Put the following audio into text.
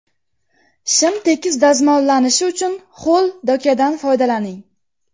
Shim tekis dazmollanishi uchun ho‘l dokadan foydalaning.